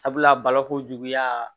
Sabula balokojuguya